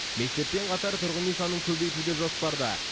мектеппен қатар тұрғын үй санын көбейту де жоспарда